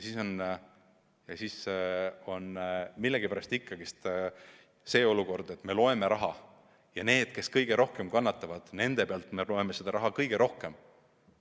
Aga millegipärast on ikkagi see olukord, et me loeme raha ja nende pealt, kes kõige rohkem kannatavad, me hoiame raha kõige rohkem kokku.